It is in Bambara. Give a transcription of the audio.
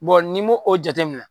n'i m'o o jatemina